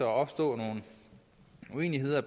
opstå nogle uenigheder